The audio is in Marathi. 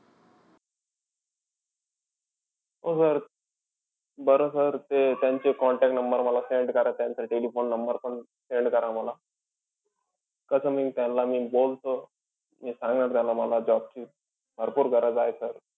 हो sir. बरं sir ते त्यांचे contact number मला send करा. त्यांचं telephone number पण send करा मला. कसं मी त्यान्ला, मी बोलतो. मी सांगणार त्यांना मला job ची भरपूर गरज आहे sir.